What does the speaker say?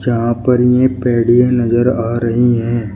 यहां पर ये पैडियें नजर आ रही है।